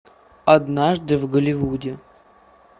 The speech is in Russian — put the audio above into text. однажды в голливуде